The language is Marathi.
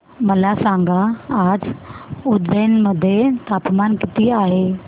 मला सांगा आज उज्जैन मध्ये तापमान किती आहे